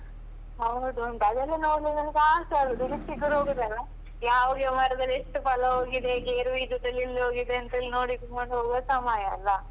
ಹೌದುಂಟು ಅದೆಲ್ಲ ನೋಡ್ಲಿಕ್ಕೆ ನನ್ಗೆ ಆಸೆ ಆಗುದು ಯಾವ ಯಾವ ಮರದಲ್ಲಿ ಎಷ್ಟು ಫಲ ಹೋಗಿದೆ, ಗೇರು ಬೀಜದಲ್ಲಿ ಎಲ್ಲಿ ಹೋಗಿದೆ ಅಂತೇಳಿ ನೋಡ್ಕೊಂಡು ಹೋಗುವ ಸಮಯ ಅಲ್ಲ.